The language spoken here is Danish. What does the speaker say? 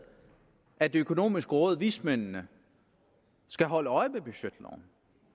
at det økonomiske råd vismændene skal holde øje med budgetloven